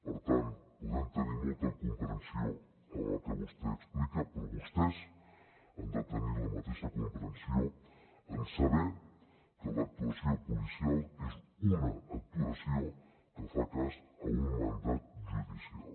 per tant podem tenir molta comprensió amb el que vostè explica però vostès han de tenir la mateixa comprensió en saber que l’actuació policial és una actuació que fa cas a un mandat judicial